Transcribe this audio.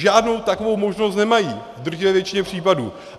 Žádnou takovou možnost nemají v drtivé většině případů.